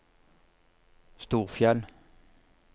Storfjell